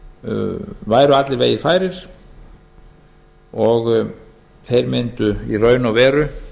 bandaríkjunum væru allir vegir færir og þeir mundu í raun og veru